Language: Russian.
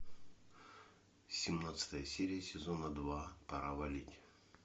семнадцатая серия сезона два пора валить